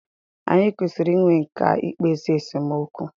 Anyị kwesịrị i nwe nkà i kpezi esemokwu.